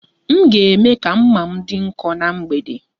M ga- eme ka mma m dị nkọ ná mgbede.